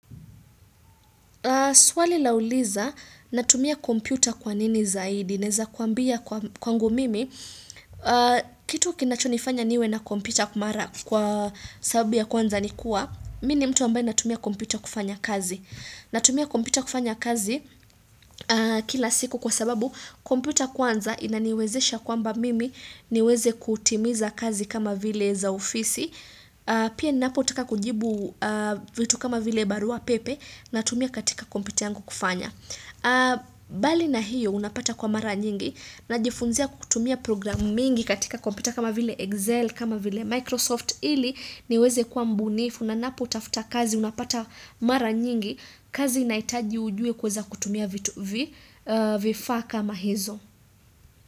Swali lauliza, natumia kompyuta kwa nini zaidi, naeza kuambia kwangu mimi, kitu kinachonifanya niwe na kompyuta mara kwa sababu kwanza ni kuwa, mi ni mtu ambaye natumia kompyuta kufanya kazi. Natumia kompyuta kufanya kazi kila siku kwa sababu kompyuta kwanza inaniwezesha kwamba mimi niweze kutimiza kazi kama vile za ofisi. Pia ninapotaka kujibu vitu kama vile barua pepe natumia katika kompyuta yangu kufanya. Bali na hiyo unapata kuwa mara nyingi najifunzia kutumia programu mingi katika kompyuta kama vile Excel kama vile Microsoft. Ili niweze kuwa mbunifu na ninapotafuta kazi unapata mara nyingi kazi inahitaji ujue kuweza kutumia vifaa kama hizo.